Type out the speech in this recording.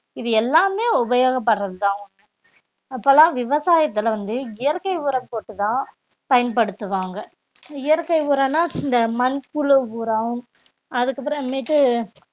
இது எல்லாமே உபயோகப்படறதுதான் அப்பெல்லாம் விவசாயத்துல வந்து இயற்கை உரம் போட்டு தான் பயன்படுத்துவாங்க இயற்கை உரம்னா இந்த மண்புழு உரம் அதுக்கப்புறமேட்டு